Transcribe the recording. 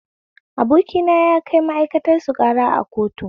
Abokina ya kai ma'aikatarsu ƙara a kotu